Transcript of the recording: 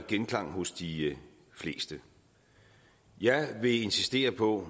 genklang hos de fleste jeg vil insistere på